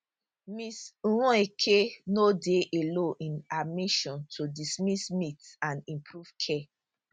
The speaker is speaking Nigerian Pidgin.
ms nweke no dey alone in her mission to dismiss myths and improve care